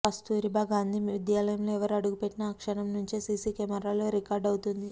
కస్తూరిబా గాంధీ విద్యాలయంలో ఎవరు అడుగు పెట్టినా ఆ క్షణం నుంచే సీసీ కెమేరాల్లో రికార్డు అవుతోంది